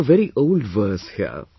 We have a very old verse here